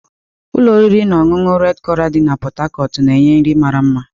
Ụlọ oriri na ọṅụṅụ red coral dị na Pot Tarcot na-enye nri mara mma.